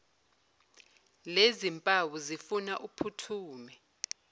lezimpawu zifuna uphuthume